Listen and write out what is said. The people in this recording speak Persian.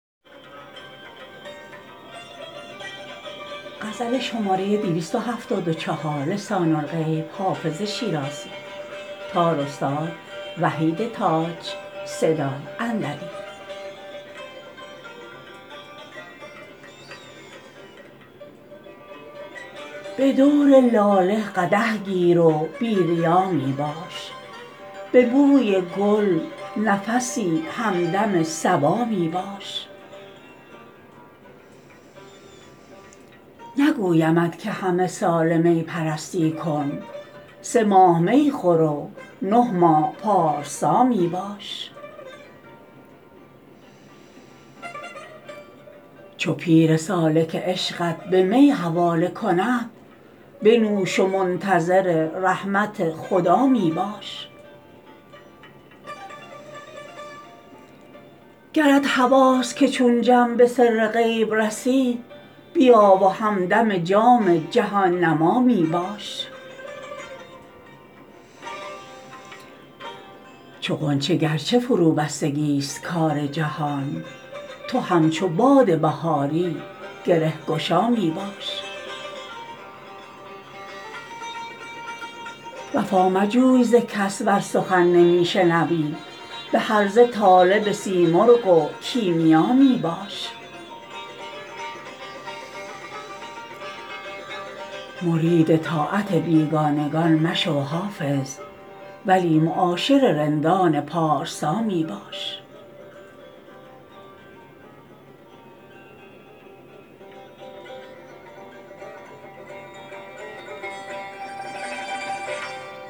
به دور لاله قدح گیر و بی ریا می باش به بوی گل نفسی همدم صبا می باش نگویمت که همه ساله می پرستی کن سه ماه می خور و نه ماه پارسا می باش چو پیر سالک عشقت به می حواله کند بنوش و منتظر رحمت خدا می باش گرت هواست که چون جم به سر غیب رسی بیا و همدم جام جهان نما می باش چو غنچه گر چه فروبستگی ست کار جهان تو همچو باد بهاری گره گشا می باش وفا مجوی ز کس ور سخن نمی شنوی به هرزه طالب سیمرغ و کیمیا می باش مرید طاعت بیگانگان مشو حافظ ولی معاشر رندان پارسا می باش